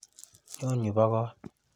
Nyo yu bo kot.